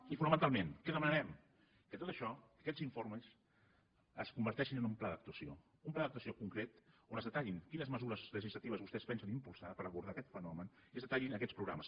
i fonamentalment què demanarem que tot això aquests informes es converteixin en un pla d’actuació un pla d’actuació concret on es detallin quines me·sures legislatives vostès pensen impulsar per abordar aquest fenomen i es detallin aquests programes